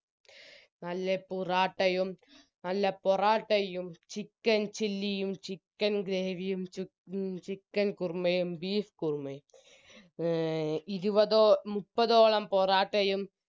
നല്ല പുറാട്ടയും നല്ല പൊറാട്ടയും chicken chilly യും chicken gravy യും ചി എ chicken കുറുമയും beef കുറുമയും എ ഇരുപതോ മുപ്പതോളം പൊറാട്ടയും